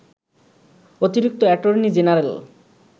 অতিরিক্ত attorney general